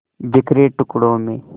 बिखरे टुकड़ों में